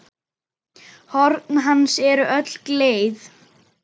Horn hans eru öll gleið.